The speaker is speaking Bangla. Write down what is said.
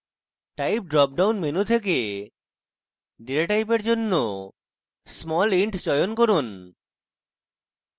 type dropdown menu থেকে ডেটা টাইপের জন্য smallint চয়ন করুন